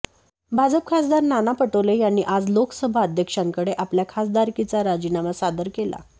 भाजप खासदार नाना पटोले यांनी आज लोकसभा अध्यक्षांकडे आपल्या खासदारकीचा राजीनामा सादर केला